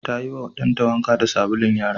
Ta yiwa ɗanta wanka da sabulun yara.